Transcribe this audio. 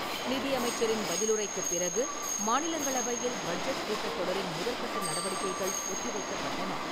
நிதியமைச்சரின் பதிலுரைக்குப் பிறகு, மாநிலங்களவையில் பட்ஜெட் கூட்டத் தொடரின் முதற் கட்ட நடவடிக்கைகள் ஒத்தி வைக்கப்பட்டன.